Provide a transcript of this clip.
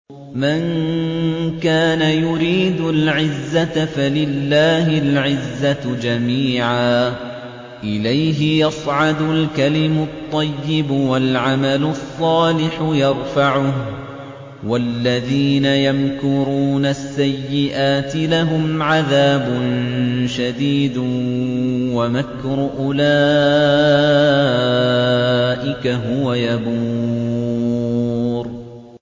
مَن كَانَ يُرِيدُ الْعِزَّةَ فَلِلَّهِ الْعِزَّةُ جَمِيعًا ۚ إِلَيْهِ يَصْعَدُ الْكَلِمُ الطَّيِّبُ وَالْعَمَلُ الصَّالِحُ يَرْفَعُهُ ۚ وَالَّذِينَ يَمْكُرُونَ السَّيِّئَاتِ لَهُمْ عَذَابٌ شَدِيدٌ ۖ وَمَكْرُ أُولَٰئِكَ هُوَ يَبُورُ